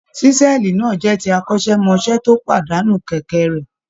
Ṣísẹ́ẹ̀lì náà jẹ́ ti atọ́kọ̀ṣe tó pàdánù kẹ̀kẹ́ rẹ̀.